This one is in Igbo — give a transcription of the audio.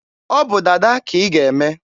ọ bụ dada ka ị ga-eme!